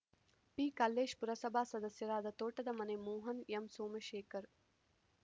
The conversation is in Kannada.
ಪಿಕಲ್ಲೇಶ್‌ ಪುರಸಭಾ ಸದಸ್ಯರಾದ ತೋಟದ ಮನೆ ಮೋಹನ್‌ ಎಂಸೋಮಶೇಖರ್‌